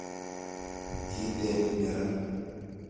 kiteb neran